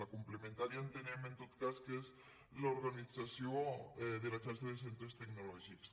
la complementària entenem en tot cas que és l’organització de la xarxa de centres tecnològics